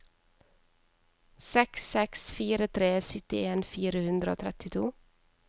seks seks fire tre syttien fire hundre og trettito